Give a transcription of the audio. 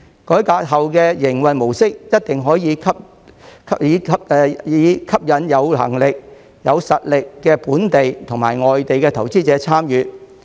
改革後的營運模式一定可以吸引有能力、有實力的本地及外地投資者參與。